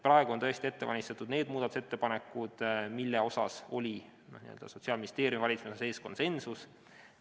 Praegu on tõesti ette valmistatud need muudatusettepanekud, mille suhtes Sotsiaalministeeriumi valitsemisala sees oli konsensus.